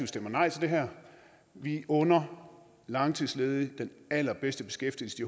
stemmer nej til det her vi under langtidsledige den allerbedste beskæftigelse de